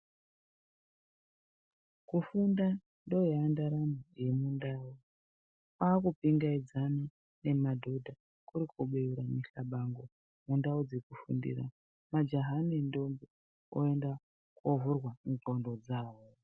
Kufunda ndoya ndaramo yemundau kwaku pingaidzane nemadhodha kuri kubeura mihlabango yendau dzekufundira, majaha nendombo oenda kovhurwa ndxondo dzawo.